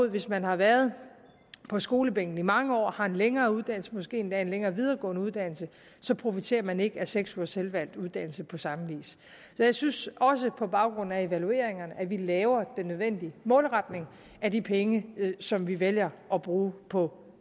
at hvis man har været på skolebænken i mange år og har en længere uddannelse måske endda en længere videregående uddannelse så profiterer man ikke af seks ugers selvvalgt uddannelse på samme vis så jeg synes også på baggrund af evalueringerne at vi laver den nødvendige målretning af de penge som vi vælger at bruge på